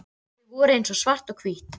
Þau voru eins og svart og hvítt.